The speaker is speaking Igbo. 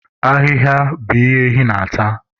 Ahịhịa bụ ihe ehi na-ata.